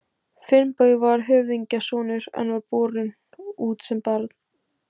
Finnbogi var höfðingjasonur en var borinn út sem barn.